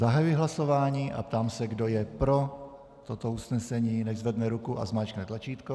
Zahajuji hlasování a ptám se, kdo je pro toto usnesení, nechť zvedne ruku a zmáčkne tlačítko.